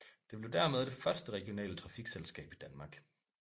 Det blev dermed det første regionale trafikselskab i Danmark